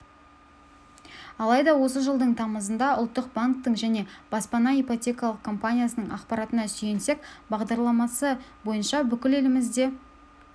алайда осы жылдың тамызында ұлттық банктің және баспана ипотекалық компаниясының ақпаратына сүйенсек бағдарламасы бойынша бүкіл елімізде